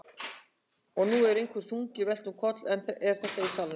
Og nú er einhverju þungu velt um koll. er þetta í salnum?